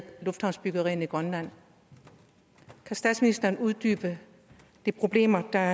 luftfartsbyggerier i grønland kan statsministeren uddybe hvilke problemer der